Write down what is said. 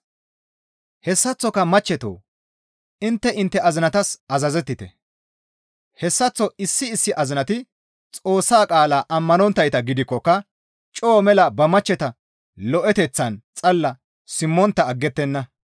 Hessaththoka machchetoo! Intte intte azinatas azazettite. Hessaththo issi issi azinati Xoossa qaalaa ammanonttayta gidikkoka coo mela ba machcheta lo7eteththaan xalla simmontta aggettenna.